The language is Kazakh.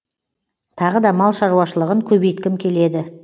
тағы да мал шаруашылығын көбейткім келеді